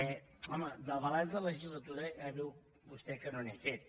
home de balanç de legislatura ja veu vostè que no n’he fet